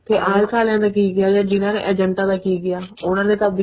ਤੇ IELTS ਆਲੀਆਂ ਦਾ ਕੀ ਗਿਆ ਜਾ ਜਿਹਨਾ ਦੇ ਏਜੇਂਟਾ ਦਾ ਕੀ ਗਿਆ ਉਹਨਾ ਨੇ ਤਾਂ ਆਪਦੀ